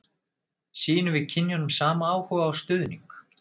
Sýnum við kynjunum sama áhuga og stuðning?